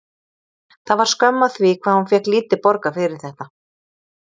Það var skömm að því hvað hún fékk lítið borgað fyrir þetta.